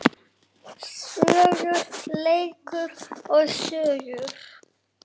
Söngur, leikur og sögur.